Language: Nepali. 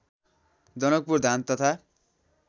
जनकपुर धाम तथा